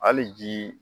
Hali ji